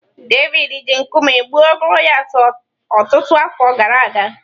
Devid ji nkume gbuo Golayat ọtụtụ afọ gara aga.